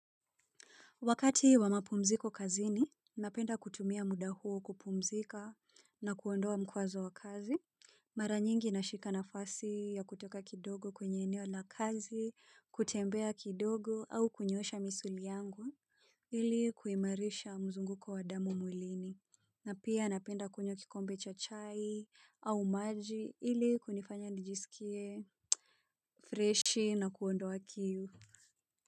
Wakati wa mapumziko kazini, napenda kutumia muda huo kupumzika na kuondoa mkwazo wa kazi. Mara nyingi nashika nafasi ya kutoka kidogo kwenye eneo na kazi, kutembea kidogo au kunyosha misuli yangu. Ili kuimarisha mzunguko wa damo mwilini. Na pia napenda kunywa kikombe cha chai au maji ili kunifanya nijisikie freshi na kuondoa kiu.